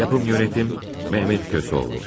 Yapım Yönetim, Mehmet Kösoğlu.